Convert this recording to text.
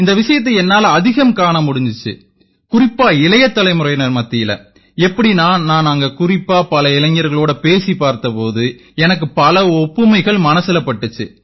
இந்த விஷயத்தை என்னால அதிகம் காண முடிஞ்சுது குறிப்பா இளைய தலைமுறையினர் மத்தியில எப்படீன்னா நான் அங்க குறிப்பா பல இளைஞர்களோட பேசிப் பார்த்த போது எனக்கு பல ஒப்புமைகள் மனசுல பட்டுச்சு